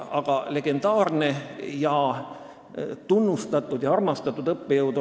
Aga ta oli kõigi arvates legendaarne, tunnustatud ja armastatud õppejõud.